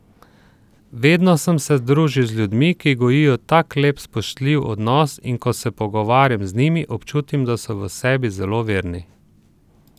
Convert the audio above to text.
Vedno sem se družil z ljudmi, ki gojijo tak lep, spoštljiv odnos, in ko se pogovarjam z njimi, občutim, da so v sebi zelo verni.